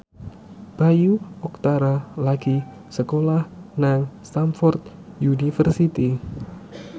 Bayu Octara lagi sekolah nang Stamford University